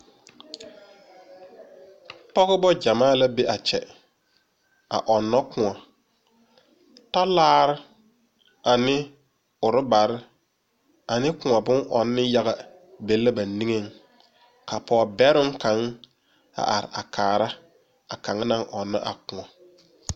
Pɔgeba gyamaa la be a kyɛ a ɔnno kóɔ, talaare ane rubbere ane kóɔ bon ɔnne yaga be la ba niŋeŋ ka pɔge bɛroo kaŋa a are a kaare a kaŋ naŋ ɔnno a kóɔ.